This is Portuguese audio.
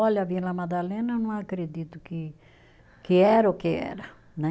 Olha a Vila Madalena, eu não acredito que que era o que era, né?